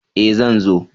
E! Zan zo.